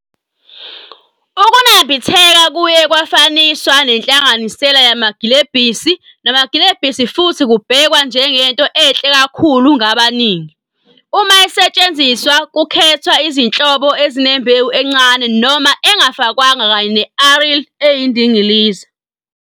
Ukunambitheka kuye kwafaniswa nenhlanganisela yamagilebhisi namagilebhisi futhi kubhekwa njengento enhle kakhulu ngabaningi. Uma isetshenziswa, kukhethwa izinhlobo ezinembewu encane noma engafakwanga kanye ne-aril eyindilinga.